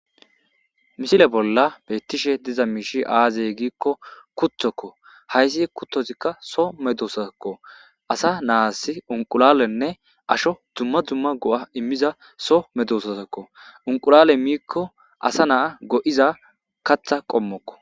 misile bolla beettishe diza miishi aazey giikko kutokko hayssi kuttozikka so medosaakko asa naas unqulalenne asho dumma dumma go7a immiza so medososakko unqulale miikko asa naa go7iza katha qommokko